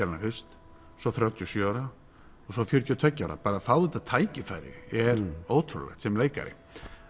hana fyrst svo þrjátíu og sjö ára og svo fjörutíu og tveggja ára bara að fá þetta tækifæri er ótrúlegt sem leikari